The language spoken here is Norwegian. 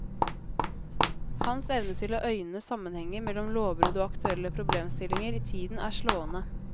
Hans evne til å øyne sammenhenger mellom lovbrudd og aktuelle problemstillinger i tiden er slående.